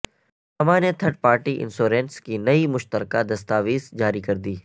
ساما نے third party insurance کی نئی مشترکہ دستاویز جاری کردی